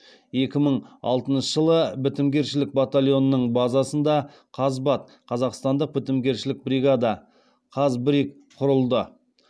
екі мың алтыншы жылы бітімгершілік батальонының базасында қазақстандық бітімгершілік бригада құрылды